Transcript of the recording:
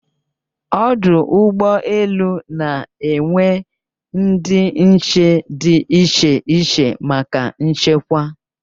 Ọdụ ụgbọ elu na enwe ndị nche di iche iche maka nchekwa